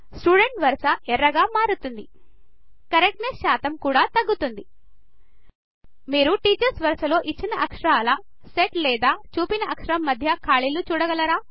student వరస ఎర్రగా మారుతుంది కరెక్ట్నెస్ శాతం కూడా తగ్గుతుంది మీరు టీచర్స్ వరస లో ఇచ్చిన అక్షరాల సెట్ లేదా చూపిన అక్షరం మధ్య ఖాళీలు చూడగలరా